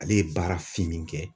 Ale ye baara finnin kɛ.